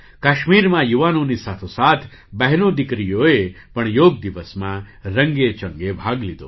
કાશ્મીરમાં યુવાનોની સાથોસાથ બહેનો દીકરીઓએ પણ યોગ દિવસમાં રંગેચંગે ભાગ લીધો